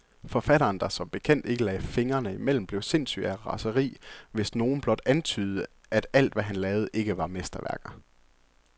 Forfatteren, der som bekendt ikke lagde fingrene imellem, blev sindssyg af raseri, hvis nogen blot antydede, at alt, hvad han lavede, ikke var mesterværker.